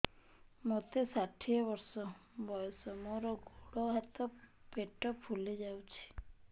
ମୋତେ ଷାଠିଏ ବର୍ଷ ବୟସ ମୋର ଗୋଡୋ ହାତ ପେଟ ଫୁଲି ଯାଉଛି